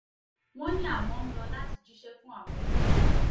wọ́n ní àwọn ń lò láti jíṣẹ́ fún àwọn òbí àwọn ni